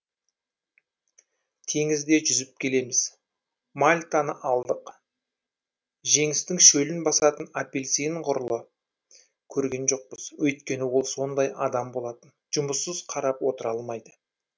теңізде жүзіп келеміз мальтаны алдық женістің шөлін басатын апельсин ғұрлы көрген жоқпыз өйткені ол сондай адам болатын жұмыссыз қарап отыра алмайды